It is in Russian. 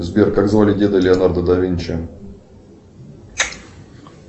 сбер как звали деда леонардо да винчи